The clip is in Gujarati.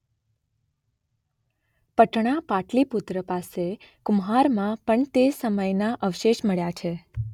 પટણા પાટલીપુત્ર પાસે કુમ્હારમાં પણ તે સમયના અવશેષ મળ્યા છે.